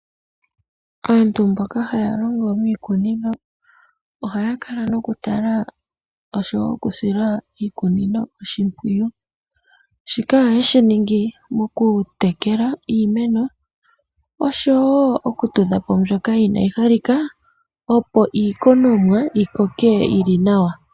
Aantu mboka haya longo miikunino ohaya kala nokutala nosho wo okusila iikunino oshimpwiyu. Shika ohaye shi ningi mokutekela iimeno osho wo okutudha po mbyoka inayi halika, opo iikunomwa yi koke yi li nawa.